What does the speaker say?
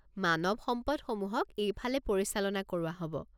মানৱ সম্পদসমূহক এইফালে পৰিচালনা কৰোৱা হ'ব।